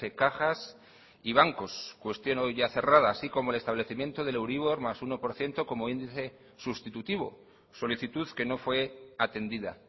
cajas y bancos cuestión hoy ya cerrada así como el establecimiento del euribor más uno por ciento como índice sustitutivo solicitud que no fue atendida